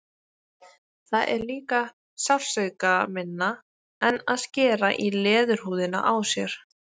Það er líka sársaukaminna en að skera í leðurhúðina á sér.